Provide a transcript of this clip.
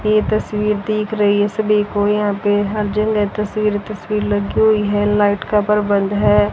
ये तस्वीर दिख रही है सभी को यहां पे हर जगह तस्वीर तस्वीर लगी हुई है लाइट परबंद है।